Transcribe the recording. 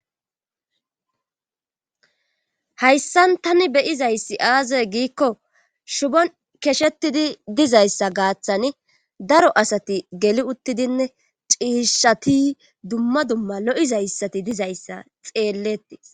hayssan tani beyizayssi aazey giikko shubon keshetidi dizayssa gaaththani daro asati geli uttidinne ciishati dumma dumma lo7izayssati dizayssa xeelletii